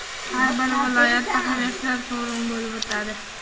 har bir viloyatda ham yoshlar forumi bo‘lib o‘tadi.